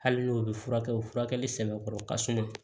Hali n'o bɛ furakɛ o furakɛli sɛbɛkɔrɔ ka suma